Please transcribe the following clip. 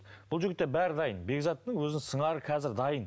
бұл жігітте бәрі дайын бекзаттың өзінің сыңары қазір дайын